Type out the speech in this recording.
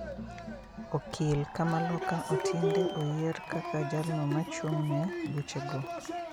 Okil kamaloka Otiende oyie r kaka jalno machung ne buche go